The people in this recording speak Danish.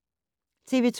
TV 2